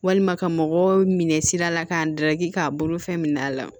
Walima ka mɔgɔ minɛ sira la k'a daraki k'a bolofɛn minɛ a la